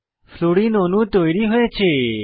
fluorine অণু তৈরী হয়েছে